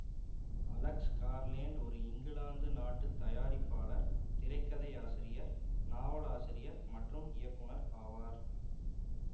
Alex Garland ஒரு England நாட்டு தயாரிப்பாளர் திரைக்கதையாசிரியர் நாவலாசிரியர் மற்றும் இயக்குநர் ஆவார்